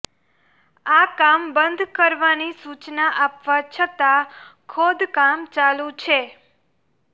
આ કામ બંધ કરવાની સૂચના આપવા છતાં ખોદકામ ચાલુ છે